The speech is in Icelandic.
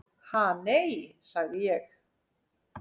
"""Ha, nei, sagði ég."""